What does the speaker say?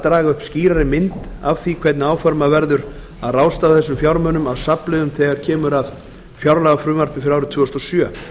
draga upp skýrari mynd af því hvernig áformað verður að ráðstafa þessum fjármunum af safnliðum þegar kemur að fjárlagafrumvarpi fyrir árið tvö þúsund og sjö